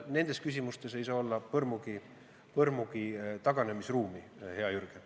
Nendes küsimustes ei saa olla põrmugi taganemisruumi, hea Jürgen.